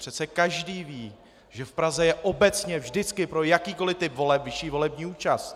Přece každý ví, že v Praze je obecně vždycky pro jakýkoli typ voleb vyšší volební účast.